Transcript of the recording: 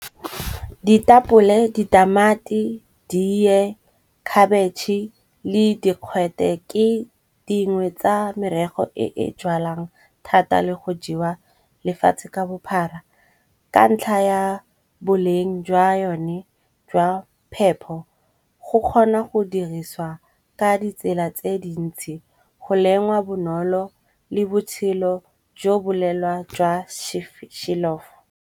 Ditapole, ditamati, diee, khabetšhe le dikgwete ke dingwe tsa merego e e jalwang thata le go jewa lefatshe ka bophara. Ka ntlha ya boleng jwa yone jwa phepho, go kgona go diriswa ka ditsela tse dintsi go lengwa bonolo le botshelo jo bo lelwa jwa .